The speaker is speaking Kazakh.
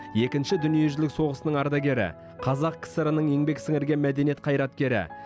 екінші дүниежүзілік соғысының ардагері қазақ кср ның еңбек сіңірген мәдениет қайраткері